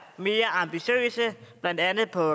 mere ambitiøse blandt andet på